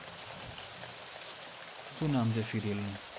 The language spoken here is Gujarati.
સુ નામ છે સિરિઅલ નુ